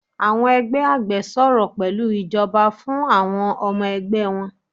Àwọn ẹgbẹ àgbẹ̀ sọrọ̀ pẹlú ìjọba fún àwọn ọmọ ẹgbẹ wọn.